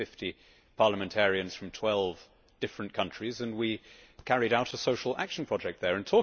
We were 50 parliamentarians from 12 different countries and we carried out a social action programme there.